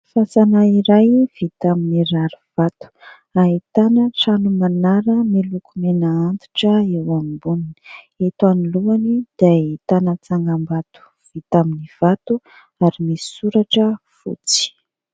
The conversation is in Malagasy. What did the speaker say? Fasana iray vita amin'ny rarivato ahitana trano manara miloko mena antitra eo amboniny, eto anoloany dia ahitana tsangam-bato vita amin'ny vato ary misy soratra fotsy.